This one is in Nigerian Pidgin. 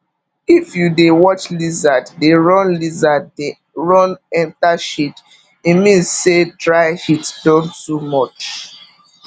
if you dey watch lizard dey run lizard dey run enter shade e mean say dry heat don too much